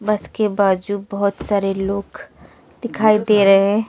बस के बाजू बहोत सारे लोग दिखाई दे रहे--